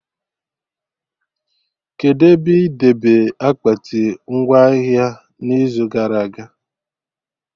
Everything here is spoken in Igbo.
Kedụ ebe ị debe akpati ngwa ahịa n'izu gara aga?